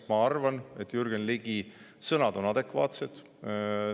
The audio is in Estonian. Ma arvan, et Jürgen Ligi sõnad on adekvaatsed.